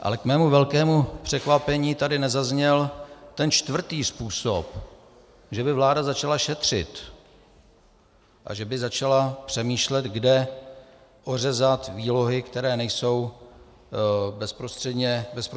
Ale k mému velkému překvapení tady nezazněl ten čtvrtý způsob, že by vláda začala šetřit a že by začala přemýšlet, kde ořezat výlohy, které nejsou bezprostředně nutné.